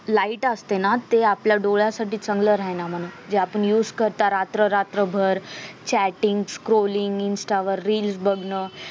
light असते ना ते आपल्या डोळ्यांसाठी चांगलं राही ना म्हणे जे आपण use करता रात्ररात्रभर chatting scrolling insta वर reels बघणं